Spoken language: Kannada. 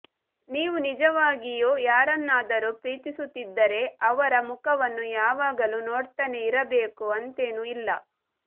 ನೀವು ನಿಜವಾಗಿಯೂ ಯಾರನ್ನಾದರು ಪ್ರೀತಿಸುತ್ತಿದ್ದರೆ ಅವರ ಮುಖವನ್ನು ಯಾವಾಗಲು ನೋಡ್ತಾನೆ ಇರಬೇಕು ಅಂತೇನು ಇಲ್ಲ